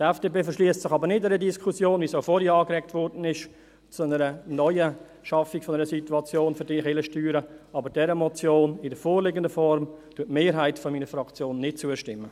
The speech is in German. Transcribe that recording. Die FDP verschliesst sich jedoch nicht vor einer Diskussion über eine Schaffung einer neuen Situation für die Kirchensteuern, wie sie auch vorhin angeregt wurde.